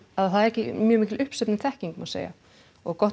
að það er ekki mjög mikil uppsöfnuð þekking má segja og gott